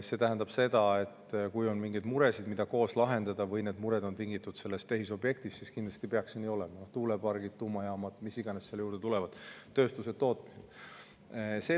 See tähendab seda, et kui on mingeid muresid, mida koos lahendada, või mured on tingitud sellest tehisobjektist, siis kindlasti peaks: tuulepargid, tuumajaamad, mis iganes sinna juurde tulevad, tööstused, tootmised.